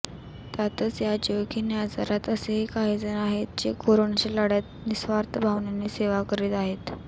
त्यातच या जीवघेण्या आजारात असेही काहीजण आहेत जे कोरोनाच्या लढ्यात निस्वार्थ भावनेने सेवा करीत आहेत